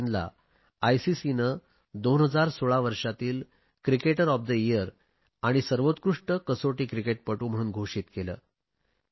अश्विनला आयसीसीने 2016 वर्षातील cricketer of the year आणि सर्वोत्कृष्ट कसोटी क्रिकेटपटू म्हणून घोषित केले